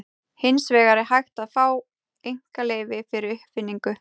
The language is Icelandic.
Hins vegar er hægt að fá einkaleyfi fyrir uppfinningu.